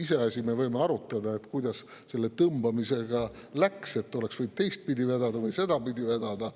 Iseasi, me võime arutada, kuidas selle tõmbamisega läks, et oleks võinud teistpidi vedada või sedapidi vedada.